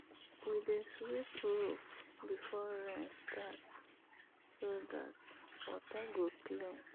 we dey sweep roof before rain start so dat water go clean.